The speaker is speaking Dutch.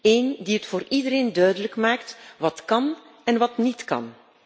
Eén die het voor iedereen duidelijk maakt wat kan en wat niet kan.